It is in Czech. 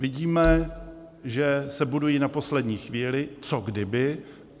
Vidíme, že se budují na poslední chvíli, co kdyby.